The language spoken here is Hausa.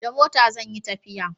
da mota zan yi tafiya